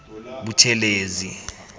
buthelezi